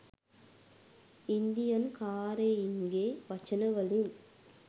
Indian කාරයින්ගේ වචනවලින්